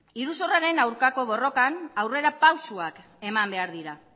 iruzurraren aurkako borrokan aurrera pausuak eman behar dira